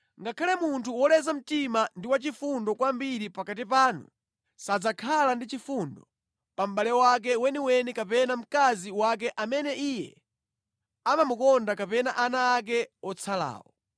Ngakhale munthu woleza mtima ndi wachifundo kwambiri pakati panu sadzakhala ndi chifundo pa mʼbale wake weniweni kapena mkazi wake amene iye amamukonda kapena ana ake otsalawo,